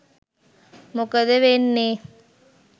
මොකද වෙන්නේ?